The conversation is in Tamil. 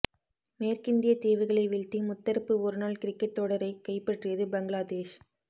மேற்கிந்திய தீவுகளை வீழ்த்தி முத்தரப்பு ஒருநாள் கிரிக்கெட் தொடரை கைப்பற்றியது பங்களாதேஷ்